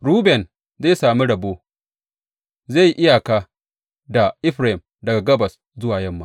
Ruben zai sami rabo; zai yi iyaka da Efraim daga gabas zuwa yamma.